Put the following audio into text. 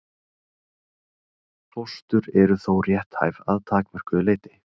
Fóstur eru þó rétthæf að takmörkuðu leyti.